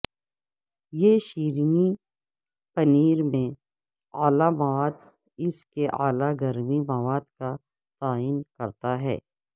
یہ شیرینی پنیر میں اعلی مواد اس کے اعلی گرمی مواد کا تعین کرتا ہے